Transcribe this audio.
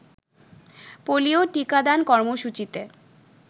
polio টিকাদান কর্মসূচিতে